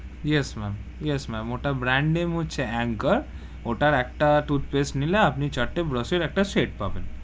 Yes ma'am, yes ma'am ওটা brand name হচ্ছে Anchor ওটার একটা toothpaste নিলে আপনি, চারটে brush এর একটা set পাবেন,